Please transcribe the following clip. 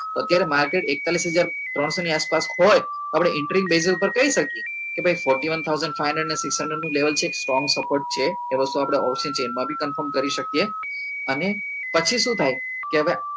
તો અત્યારે માર્કેટ એકતાલીસ હજાર ત્રણસો ની આસપાસ હોય તો આપડે base પર કહી શકીએ કે ભાઈ fourty one thousand five hundred six hundred નું level છે કે strong support છે એ વસ્તુ આપડે option chain માં બી confirm કરી શકીએ અને પછી શું થાય કે હવે